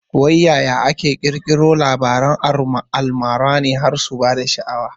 Wai ya ake fara ƙirkiro Labaran almara ne har su bada sha'awa